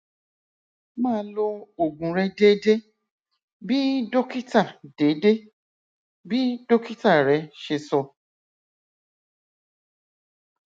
máa lo oògùn rẹ déédéé bí dókítà déédéé bí dókítà rẹ ṣe sọ